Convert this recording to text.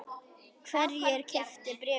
Hverjir keyptu bréfin?